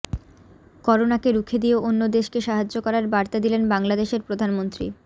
করোনাকে রুখে দিয়ে অন্য দেশকে সাহায্য করার বার্তা দিলেন বাংলাদেশের প্রধানমন্ত্রী